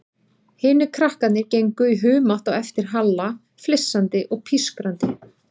Hinir krakkarnir gengu í humátt á eftir Halla, flissandi og pískrandi.